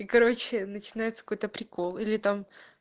и короче начинается какой-то прикол или там